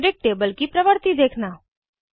periodic table की प्रवर्ति देखना